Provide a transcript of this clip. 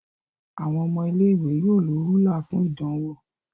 Àwon ọmọ ilé ìwé yóò ló Rúlà fún ìdánwò.